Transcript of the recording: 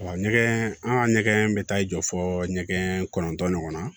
ɲɛgɛn an ka ɲɛgɛn bɛ taa jɔ fɔ ɲɛgɛn kɔnɔntɔn ɲɔgɔnna